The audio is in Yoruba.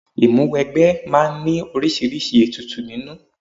Ìmúwẹgbẹ́ máa ń ní oríṣiríṣi ètùtù nínú